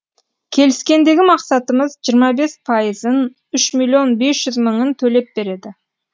келіскендегі мақсатымыз жиырма бес пайызын үш миллион бес жүз мыңын төлеп береді